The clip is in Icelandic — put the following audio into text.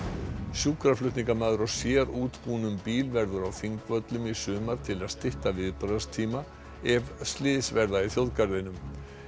sjúkraflutningamaður á sérútbúnum bíl verður á Þingvöllum í sumar til að stytta viðbragðstíma ef slys verða í þjóðgarðinum